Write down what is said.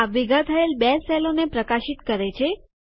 આ ભેગા થયેલ બે સેલોને પ્રકાશિત કરે છે